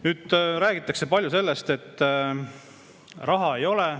Nüüd, räägitakse palju sellest, et raha ei ole.